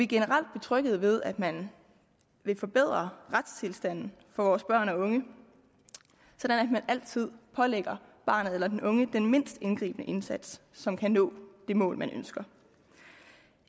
generelt betrygget ved at man vil forbedre retstilstanden for vores børn og unge sådan at man altid pålægger barnet eller den unge den mindst indgribende indsats som kan nå det mål man ønsker